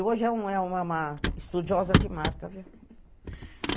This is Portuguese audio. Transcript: E hoje é uma, uma estudiosa de marca, viu?